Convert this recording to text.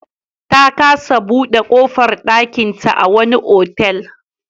Ta kasa buɗe ƙofar ɗakinta a wani otal.